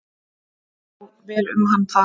Það fór vel um hann þar.